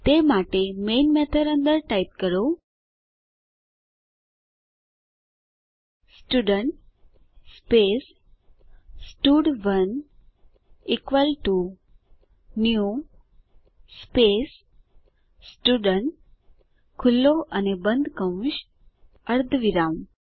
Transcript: તે માટે main method અંદર ટાઈપ કરો સ્ટુડન્ટ સ્પેસ સ્ટડ1 equal to new space student ખુલ્લો અને બંધ કૌંસ અર્ધવિરામ